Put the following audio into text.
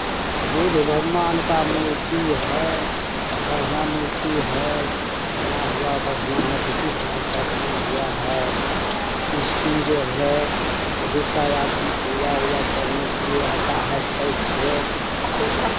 बुद्ध भगवान का मूर्ति है। बढ़िया मूर्ति है । बना हुआ बढ़िया है । ब्रिटिश राज़ का बना हुआ है । इसमें जो है बहुत-सा आदमी पूजा-वूजा करने के लिए आता है शौक से --